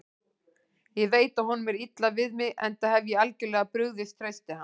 Ég veit að honum er illa við mig, enda hef ég algjörlega brugðist trausti hans.